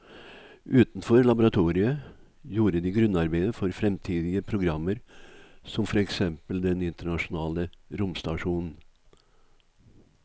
Utenfor laboratoriet gjorde de grunnarbeidet for fremtidige programmer som for eksempel den internasjonale romstasjonen.